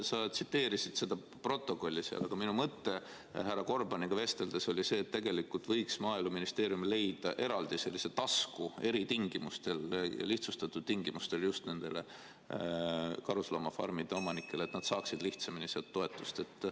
Sa tsiteerisid komisjoni istungi protokolli, aga minu mõte härra Gorbaniga vesteldes oli see, et tegelikult võiks Maaeluministeerium leida eraldi sellise tasku eritingimustel või lihtsustatud tingimustel just nendele karusloomafarmide omanikele, et nad saaksid lihtsamini sealt toetust.